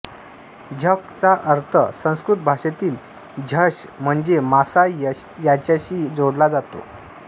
झक् चा अर्थ संस्कृत भाषेतील झष म्हणजे मासा याच्याशी जोडला जातो